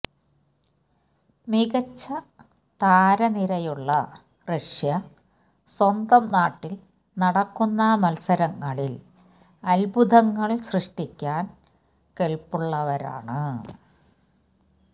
മികച്ച താരനിരയുള്ള റഷ്യ സ്വന്തം നാട്ടില് നടക്കുന്ന മത്സരങ്ങളില് അത്ഭുതങ്ങള് സൃഷ്ടിക്കാന് കെല്പുള്ളവരാണ്